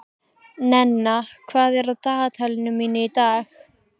Nenna, hvað er á dagatalinu mínu í dag?